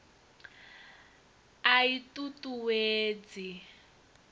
a i t ut uwedzi